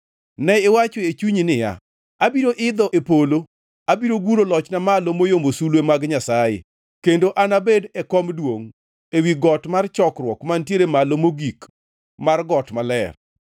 Ne iwacho e chunyi niya, “Abiro idho e polo; abiro guro lochna malo moyombo sulwe mag Nyasaye; kendo anabed e kom duongʼ, ewi got mar chokruok, mantiere malo mogik mar got maler.